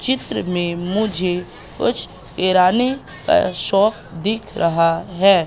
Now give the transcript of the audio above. चित्र में मुझे कुछ ईरानी अ शॉप दिख रहा है।